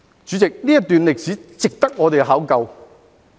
主席，這段歷史值得我們考究。